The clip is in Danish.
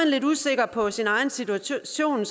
lidt usikker på sin egen situation er